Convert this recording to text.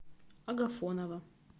агафонова